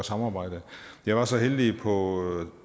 samarbejde jeg var så heldig på